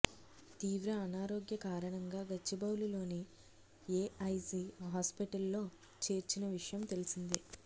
తీవ్ర అనారోగ్య కారణంగా గచ్చిబౌలి లోని ఏఐజి హాస్పిటల్ లో చేర్చిన విషయం తెలిసిందే